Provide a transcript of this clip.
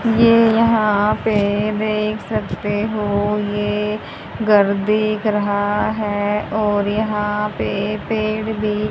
ये यहां पे देख सकते हो ये घर दिख रहा है और यहां पे पेड़ भी--